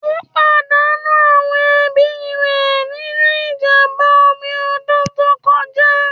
Ó pàdánù àwọn ẹbí rẹ̀ nínú ìjàmbá omi ọdún tó kọjá.